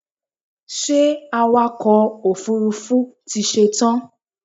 Ṣé awakọ̀ òfurufú ti ṣetán?